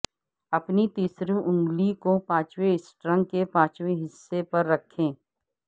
اپنی تیسری انگلی کو پانچویں سٹرنگ کے پانچویں حصے پر رکھیں